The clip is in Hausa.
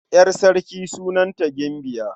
Ƴar sarki sunanta Gimbiya.